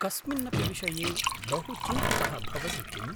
कस्मिन्नपि विषये बहुचिन्तितः भवसि किम्?